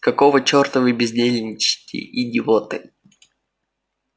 какого чёрта вы бездельничаете идиоты